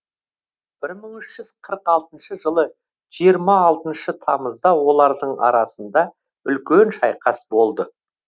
бір мың үш жүз қырық алтыншы жылы жиырма алтыншы тамызда олардың арасында үлкен шайқас болды